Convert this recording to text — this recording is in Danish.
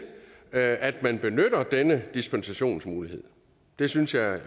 at at man benytter denne dispensationsmulighed det synes jeg